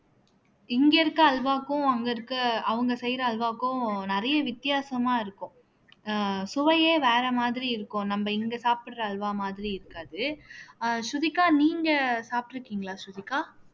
இங்க இருக்க அல்வாக்கும் அங்க இருக்க அவங்க செய்யற அல்வாவுக்கும் நிறைய வித்தியாசமா இருக்கும் அஹ் சுவையே வேற மாதிரி இருக்கும் நம்ம இங்க சாப்பிடற அல்வா மாதிரி இருக்காது அஹ் ஸ்ருதிகா நீங்க சாப்பிட்டிருக்கீங்களா ஸ்ருதிகா